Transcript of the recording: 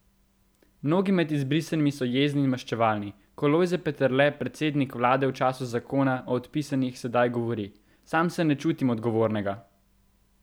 Mnogi med izbrisanimi so jezni in maščevalni, ko Lojze Peterle, predsednik vlade v času 'zakona' o odpisanih, sedaj govori: 'Sam se ne čutim odgovornega!